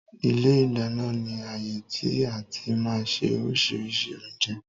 Ilé ìdáná ni ààyè tí àti máa ń ṣe oríṣiríṣi oúnjẹ